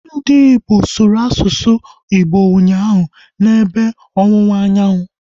Ndị Igbo sụrụ asụsụ Igbo ụnyaahụ, na ebe ọwụwa anyanwụ